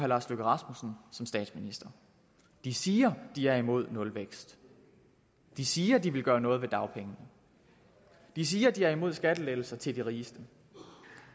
lars løkke rasmussen som statsminister de siger at de er imod nulvækst de siger at de vil gøre noget ved dagpengene de siger at de er imod skattelettelser til de rigeste